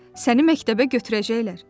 Səni məktəbə götürəcəklər.